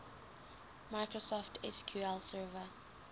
microsoft sql server